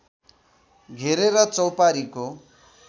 घेरेर चौपारीको